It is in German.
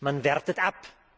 Man wertet ab.